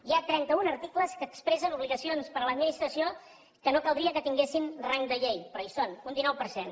hi ha trenta un articles que expressen obligacions per a l’administració que no caldria que tinguessin rang de llei però hi són un dinou per cent